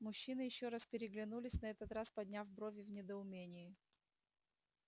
мужчины ещё раз переглянулись на этот раз подняв брови в недоумении